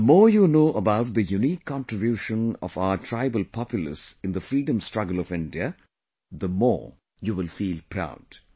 The more you know about the unique contribution of our tribal populace in the freedom struggle of India, the more you will feel proud